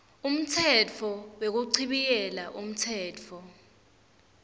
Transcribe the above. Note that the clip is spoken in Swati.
umtsetfo wekuchibiyela umtsetfo